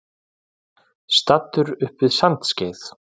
Staddur upp við Sandskeið.